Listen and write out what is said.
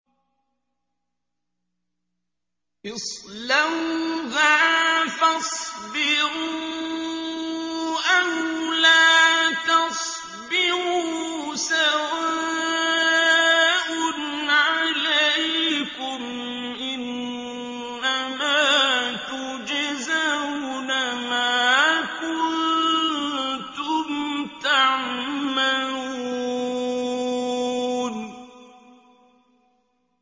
اصْلَوْهَا فَاصْبِرُوا أَوْ لَا تَصْبِرُوا سَوَاءٌ عَلَيْكُمْ ۖ إِنَّمَا تُجْزَوْنَ مَا كُنتُمْ تَعْمَلُونَ